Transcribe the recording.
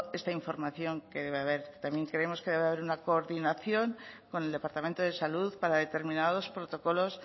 esta información que debe haber también creemos que debe haber una coordinación con el departamento de salud para determinados protocolos